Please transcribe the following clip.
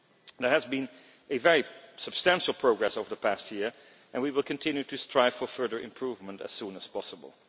There has been very substantial progress over the past year and we will continue to strive for further improvement as soon as possible.